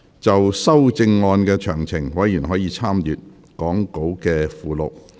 就修正案詳情，委員可參閱講稿附錄。